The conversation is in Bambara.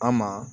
An maa